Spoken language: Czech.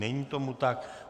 Není tomu tak.